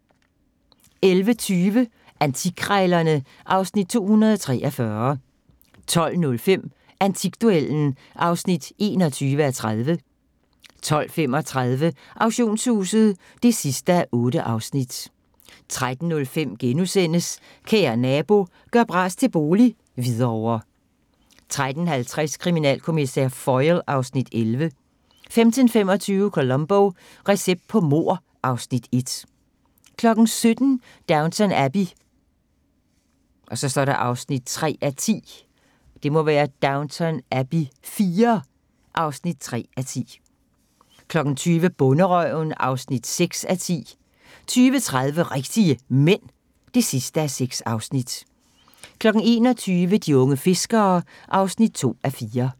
11:20: Antikkrejlerne (Afs. 243) 12:05: Antikduellen (21:30) 12:35: Auktionshuset (8:8) 13:05: Kære Nabo – gør bras til bolig - Hvidovre * 13:50: Kriminalkommissær Foyle (Afs. 11) 15:25: Columbo: Recept på mord (Afs. 1) 17:00: Downton Abbey (3:10) 20:00: Bonderøven (6:10) 20:30: Rigtige Mænd (6:6) 21:00: De unge fiskere (2:4)